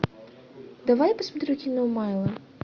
давай я посмотрю кино майло